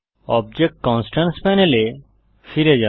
object constraints panel এ ফিরে যান